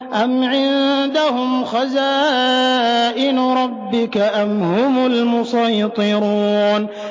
أَمْ عِندَهُمْ خَزَائِنُ رَبِّكَ أَمْ هُمُ الْمُصَيْطِرُونَ